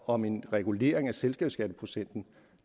om en regulering af selskabsskatteprocenten